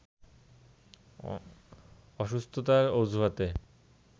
অসুস্থতার অজুহাতে